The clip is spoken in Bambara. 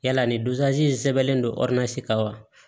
Yala nin in sɛbɛnnen don kan wa